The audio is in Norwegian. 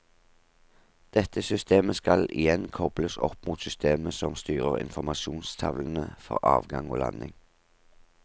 Dette systemet skal igjen kobles opp mot systemet som styrer infomrasjonstavlene for avgang og landing.